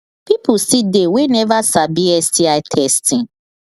people still they we never sabi sti testing